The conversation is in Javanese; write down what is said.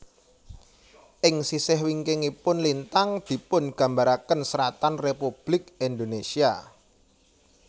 Ing sisih wingkingipun lintang dipungambaraken seratan Republik Indonesia